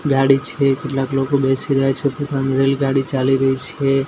ગાડી છે કેટલાક લોકો બેસી રહ્યા છે રેલગાડી ચાલી રહી છે.